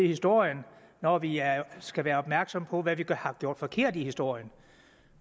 historien når vi skal være opmærksomme på hvad vi har gjort forkert i historien